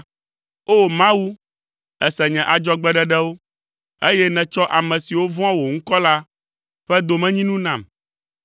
O! Mawu, èse nye adzɔgbeɖeɖewo, eye nètsɔ ame siwo vɔ̃a wò ŋkɔ la ƒe domenyinu nam.